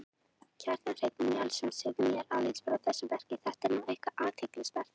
Kjartan Hreinn Njálsson: Segðu mér aðeins frá þessu verki, þetta er nú eitthvað athyglisvert?